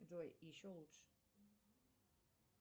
джой еще лучше